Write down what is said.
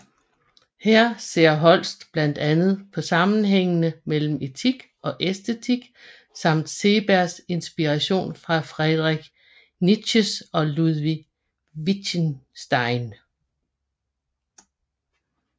Her ser Holst blandt andet på sammenhængene mellem etik og æstetik samt Seebergs inspiration fra Friedrich Nietzsche og Ludwig Wittgenstein